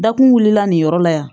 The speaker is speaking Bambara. Dakun wulila nin yɔrɔ la yan